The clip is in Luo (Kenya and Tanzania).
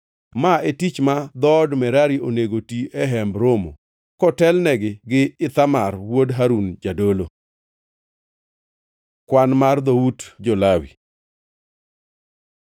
Ma e tich ma dhood Merari onego ti e Hemb Romo kotelnegi gi Ithamar wuod Harun jadolo.” Kwan mar dhout jo-Lawi